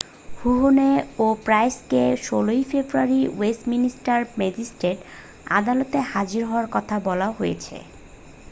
Huhne ও Price কে 16'ই ফেব্রুয়ারি ওয়েস্টমিনস্টার ম্যাজিস্ট্রেট আদালতে হাজির হওয়ার কথা বলা হয়েছে।